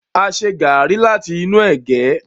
a ṣe garri láti inú ege.